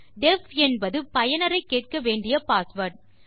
def என்பது பயனரை கேட்க வேண்டிய பாஸ்வேர்ட்